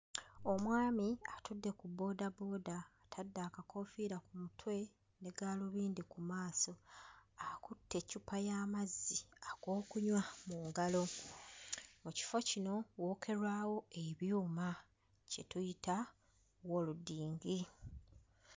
Omwami atudde ku bboodabooda atadde akakoofiira ku mutwe ne gaalibindi ku maaso. Akutte eccupa y'amazzi ag'okunywa mu ngalo. Mu kifo kino wookerwawo ebyuma kye tuyita welodingi